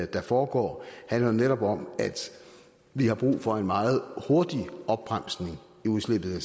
der foregår handler jo netop om at vi har brug for en meget hurtig opbremsning i udslippet af